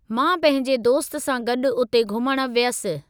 मां पंहिंजे दोस्त सां गॾु उते घुमणु वियसि।